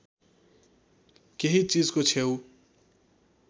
केही चिजको छेउ